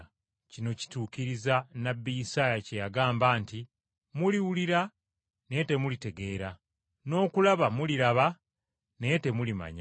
Kino kituukiriza nnabbi Isaaya kye yagamba nti, “ ‘Muliwulira naye temulitegeera n’okulaba muliraba naye temulimanya.